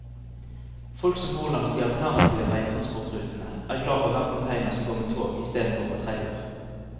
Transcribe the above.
Folk som bor langs de alternative veitransportrutene, er glad for hver container som går med tog istedenfor på trailer.